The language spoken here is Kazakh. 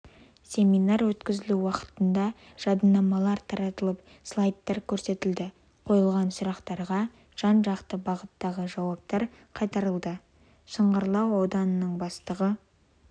семинар өткізілу уақытында жадынамалар таратылып слайдтар көрсетілді қойылған сұрақтарға жан-жақты бағыттағы жауаптар қайтарылды шыңғырлау ауданының бастығы